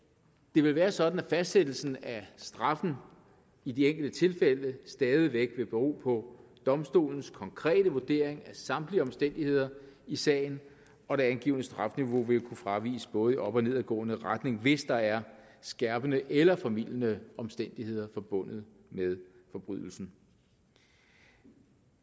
det vil være sådan at fastsættelsen af straffen i de enkelte tilfælde stadig væk vil bero på domstolens konkrete vurdering af samtlige omstændigheder i sagen og det angivne strafniveau vil kunne fraviges både i op og nedadgående retning hvis der er skærpende eller formildende omstændigheder forbundet med forbrydelsen